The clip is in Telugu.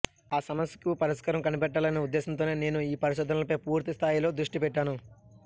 ఆ సమస్యకు పరిష్కారం కనిపెట్టాలనే ఉద్దేశంతోనే నేను ఈ పరిశోధనలపై పూర్తిస్థాయిలో దృష్టి పెట్టాను